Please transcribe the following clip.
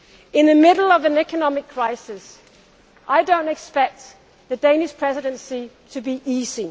In the middle of an economic crisis I do not expect the Danish Presidency to be